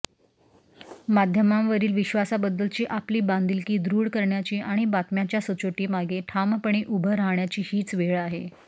माध्यमांवरील विश्वासाबद्दलची आपली बांधिलकी दृढ करण्याची आणि बातम्यांच्या सचोटीमागे ठामपणे उभं राहण्याची हीच वेळ आहे